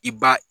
I b'a